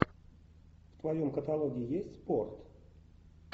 в твоем каталоге есть спорт